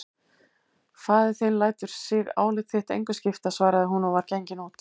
Faðir þinn lætur sig álit þitt engu skipta, svaraði hún og var gengin út.